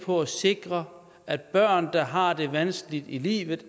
for at sikre at børn der har det vanskeligt i livet